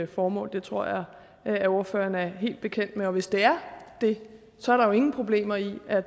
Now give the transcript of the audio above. formål det tror jeg at ordføreren er helt bekendt med og hvis det er det så er der jo ingen problemer i at